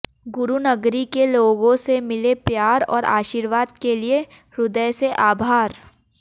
गुरुनगरी के लोगों से मिले प्यार और आशीर्वाद के लिए ह्दय से आभार